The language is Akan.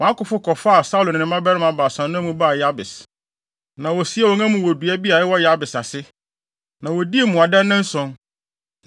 wɔn akofo kɔfaa Saulo ne ne mmabarima baasa no amu baa Yabes. Na wosiee wɔn amu wɔ odum dua bi a ɛwɔ Yabes ase, na wodii mmuada nnanson.